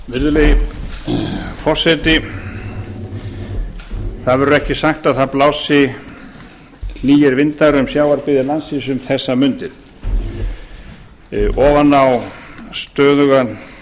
virðulegi forseti það verður ekki sagt að það blási hlýir vindar um sjávarbyggðir landsins um þessar mundir ofan á stöðugan